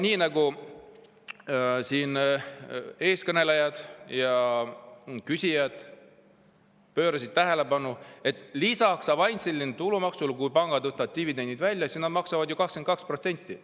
Nii nagu siin eelkõnelejad ja küsijad tähelepanu juhtisid, lisaks avansilisele tulumaksule on nii, et kui pangad võtavad dividendi välja, siis nad maksavad selle pealt 22%.